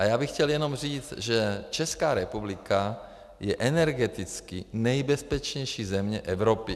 A já bych chtěl jenom říct, že Česká republika je energeticky nejbezpečnější země Evropy.